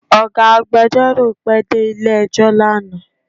Ọ̀gá agbẹjọ́rò pẹ dé ilé ẹjọ́ lánàá